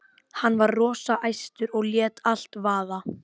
Hann var rosa æstur og lét allt vaða.